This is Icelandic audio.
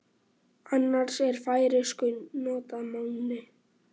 Annars er í færeysku notað máni.